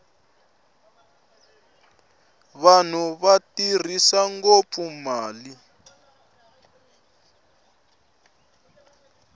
vanhu va tirhisa ngopfu mali